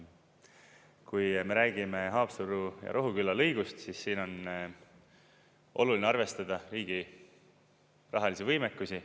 Kui me räägime Haapsalu ja Rohuküla lõigust, siis siin on oluline arvestada riigi rahalisi võimekusi.